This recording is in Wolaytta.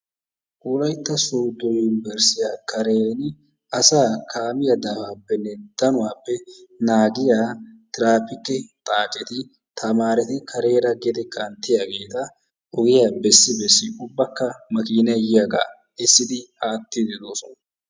Wolaytta soodo yunbburssiya kareni asaa kaamiya daafaappe daanuwappe naagiya tiraappikke xaaceti tamaareti kareera gede kanttiyaageeta ogiya bessi bessidi ubbakka makiinay yiyaagaa bessidi aatiidi de'oosona.